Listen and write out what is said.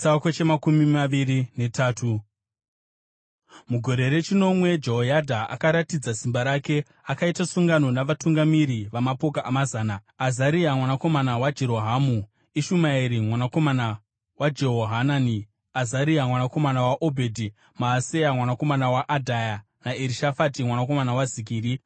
Mugore rechinomwe Jehoyadha akaratidza simba rake. Akaita sungano navatungamiri vamapoka amazana: Azaria mwanakomana waJerohamu, Ishumaeri mwanakomana waJehohanani, Azaria mwanakomana waObhedhi, Maaseya mwanakomana waAdhaya naErishafati mwanakomana waZikiri.